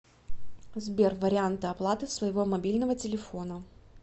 сбер варианты оплаты своего мобильного телефона